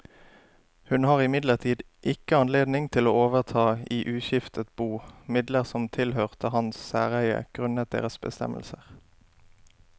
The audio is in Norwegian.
Hun har imidlertid ikke anledning til å overta i uskiftet bo midler som tilhørte hans særeie grunnet deres bestemmelser.